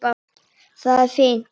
Það er fínt.